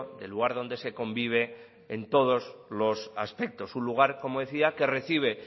de lugar donde se convive en todos los aspectos un lugar como decía que recibe